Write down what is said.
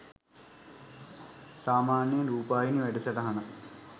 සාමාන්‍යයෙන් රූපවාහිනී වැඩසටහනක්